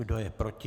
Kdo je proti?